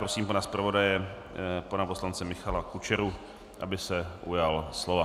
Prosím pana zpravodaje, pana poslance Michala Kučeru, aby se ujal slova.